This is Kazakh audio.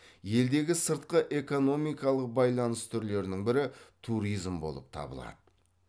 елдегі сыртқы экономикалық байланыс түрлерінің бірі туризм болып табылады